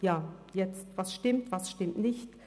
Ja, was stimmt, was stimmt nicht?